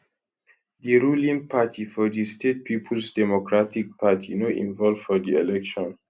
di ruling party for di state peoples democratic party no involve for di election